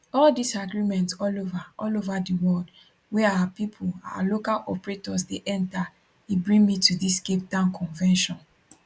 all dis agreement all ova all ova di world wey our pipo our local operators dey enta e bring me to dis capetown convention